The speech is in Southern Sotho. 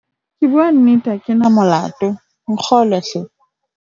ke bua nnete ha ke na molato, nkgolwe hle